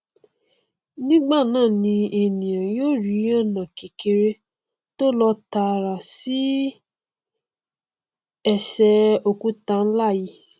nígbànáà ni ènìà yó rí ọnà kékeré tó lọ tààrà sí ẹsẹ òkúta nlá yìí